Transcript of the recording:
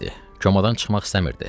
Komadan çıxmaq istəmirdi.